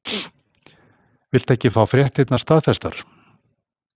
Viltu ekki fá fréttirnar staðfestar?